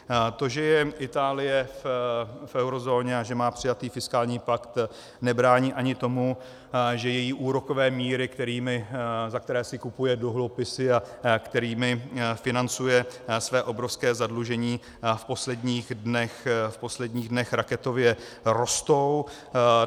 To, že je Itálie v eurozóně a že má přijatý fiskální plat, nebrání ani tomu, že její úrokové míry, za které si kupuje dluhopisy a kterými financuje své obrovské zadlužení, v posledních dnech raketově rostou.